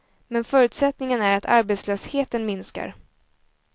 Men förutsättningen är att arbetslösheten minskar.